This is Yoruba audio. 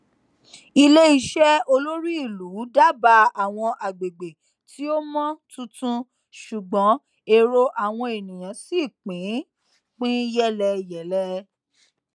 iléiṣẹ olórí ìlú dábàá àwọn àgbègbè tí ó mọ tuntun ṣùgbọn èrò àwọn ènìyàn ṣì pín pín yélẹyèlẹ